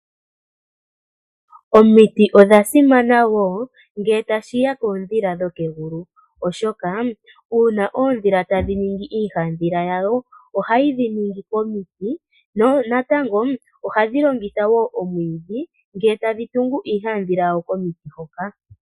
Omiti odha simana wo ngele tashiya koondhila dhokegulu. Oshoka uuna oondhila tadhi ningi iihandhila yawo ohayi dhi ningi komiti. Natango ohadhi longitha wo, omwiidhi ngele tadhi tungu iihandhila yawo komiti hoka.